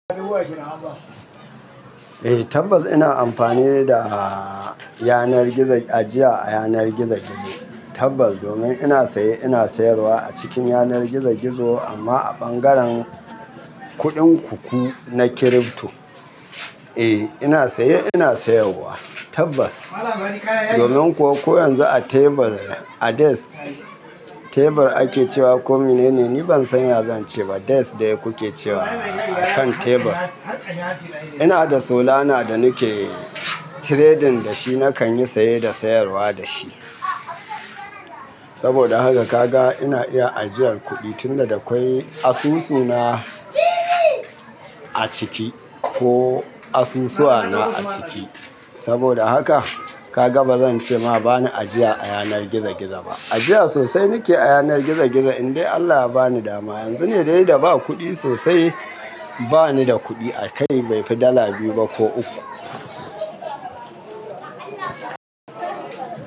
Eh tabbas ina amfani da yanar gizo, ajiya a yanar gizo gizo tabbas domin ina saye ina sayarwa a cikin yanar gizo gizo amma a bangaren kuɗin ku ku na crypto. Eh ina saye ina sayarwa tabbas domin kuwa ko yanzu a tebur, a desk, tebur ake cewa ko mene ne ni ban san ya zan ce ba, desk de kuke cewa akan tebur. Ina da Solana da nike trading da shi nakan yi saye da sayarwa da shi. Saboda haka kaga ina iya ajiyar kuɗi tunda da kwai asusu na a ciki ko asusuwa na a ciki. Saboda haka ka gaba zan ce ma ba ni ajiya a yanar gizo gizo ba. Ajiya sosai nike a yanar gizo gizo in dai Allah ya bani dama. Yanzu ne dai da ba kuɗi sosai, ba ni da kuɗi a kai bai fi dala biyu ba ko uku.